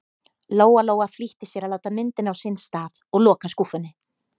Lóa-Lóa flýtti sér að láta myndina á sinn stað og loka skúffunni.